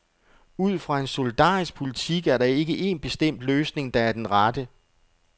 Ud fra en solidarisk politik er der ikke en bestemt løsning, der er den rette.